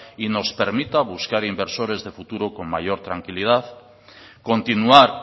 y nos permita buscar inversores de futuro con mayor tranquilidad continuar